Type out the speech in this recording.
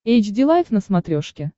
эйч ди лайф на смотрешке